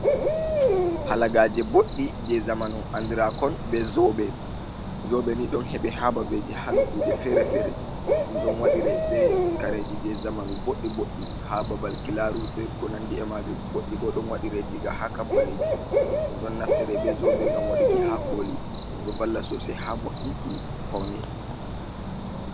Halagaje boɗɗi je zamanu andira kon be zobe. Zobe ni ɗon heɓe ha babeji ha nokkuje fere-fere, ɗum ɗo wadire be kareji je zamanu boɗɗi boɗɗi ha babal kilaru be konandi e majum, goɗɗi bo ɗo waɗire diga ha kampaniji ɗum ɗon naftire be zobe ngam waɗuki ha koli ɗum ɗo valla sosai ha mo'inki paune.